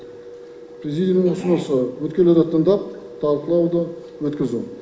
президиумның ұсынысы үміткерлерді тыңдап талқылауды өткізу